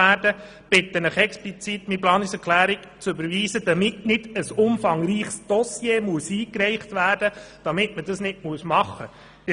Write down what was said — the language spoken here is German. Ich bitte Sie ausdrücklich, meine Planungserklärungen zu überweisen, damit nicht ein umfangreiches Dossier eingereicht werden muss, wenn eine Revitalisierung aufgegebener Quellen nicht vorgenommen werden kann.